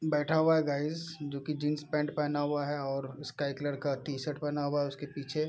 बैठा हुआ है गाइस जो की जीन्स पैंट पहना हुआ है और उसका एक लड़का टी-शर्ट पहना हुआ है उसके पीछे।